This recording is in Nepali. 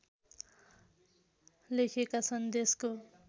लेखेका छन् देशको